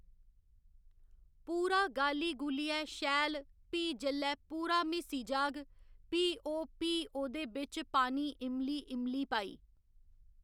पूरा गाली गूलियै शैल प्ही जेल्लै पूरा म्हीसी जाह्ग प्ही ओह् प्ही ओह्‌दे बिच पानी इमली इमली पाई